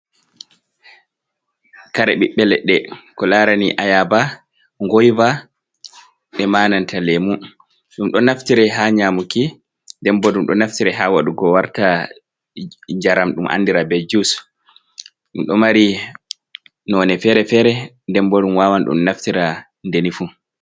Kare ɓiɓɓe leɗɗe ko larani ayaba, goyva, nde e'ma nanta lemu. Ɗum do naftire ha nyamuki nden bo ɗum ɗo naftire ha waɗugo warta jaram ɗum andira be jus. Ɗum ɗo mari none fere-fere nden bo ɗum wawan ɗum naftira ndeni fu.